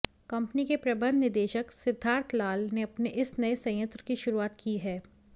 company के प्रबंध निदेशक सिद्धार्थ लाल ने अपने इस नये संयंत्र की शुरूआत की है